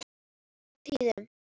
Oft á tíðum.